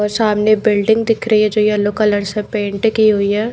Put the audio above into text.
और सामने बिल्डिंग दिख रही है जो येलो कलर से पेंट की हुई है।